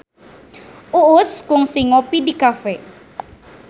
Uus kungsi ngopi di cafe